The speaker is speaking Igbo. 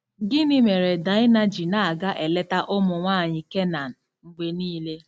Gịnị mere Daịna ji na-aga eleta ụmụ nwaanyị Kenan mgbe niile?